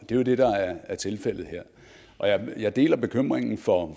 det er jo det der er tilfældet her og jeg deler bekymringen for